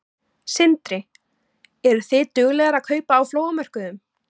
Sindri: Eru þið duglegar að kaupa á flóamörkuðum?